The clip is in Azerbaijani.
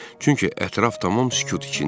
Çünki ətraf tamam sükut içində idi.